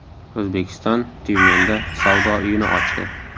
O‘zbekiston Tyumenda savdo uyini ochdi.